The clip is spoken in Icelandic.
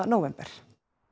nóvember